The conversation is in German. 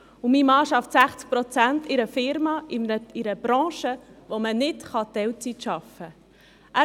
Er arbeitet 60 Prozent in einer Unternehmung, die zu einer Branche gehört, wo man nicht Teilzeit arbeiten kann: